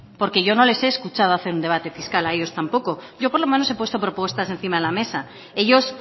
porque yo no les he escuchado hacer un debate fiscal a ellos tampoco yo por lo menos he puesto propuestas encima de la mesa ellos